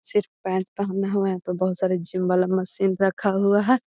सिर्फ पैंट पहना हुआ है यहाँ पे बहुत सारे जिम वाला मशीन रखा हुआ है।